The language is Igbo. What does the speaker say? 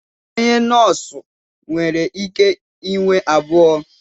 Onye nọọsụ nwere ike inwe abụọ.